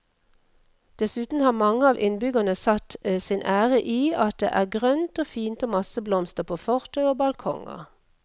Dessuten har mange av innbyggerne satt sin ære i at det er grønt og fint og masse blomster på fortau og balkonger.